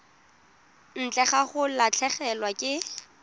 ntle ga go latlhegelwa ke